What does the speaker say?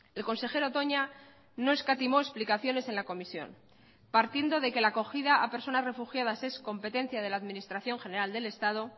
el consejero toña no escatimó explicaciones en la comisión partiendo de que la acogida a personas refugiadas es competencia de la administración general del estado